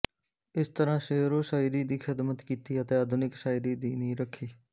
ਇਸ ਤਰ੍ਹਾਂ ਸ਼ੇਅਰੋ ਸ਼ਾਇਰੀ ਦੀ ਖ਼ਿਦਮਤ ਕੀਤੀ ਅਤੇ ਆਧੁਨਿਕ ਸ਼ਾਇਰੀ ਦੀ ਨੀਂਹ ਰੱਖੀ